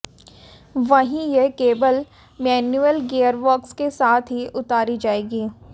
वहीं यह केवल मैनुअल गियरबॉक्स के साथ ही उतारी जाएगी